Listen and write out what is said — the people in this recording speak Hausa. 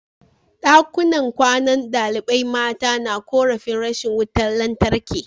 Dakunan kwanan dalibai mata na korafin rashin wutar lantarki